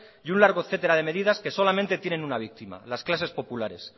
y un largo etcétera de medidas que solamente tienen una víctima las clases populares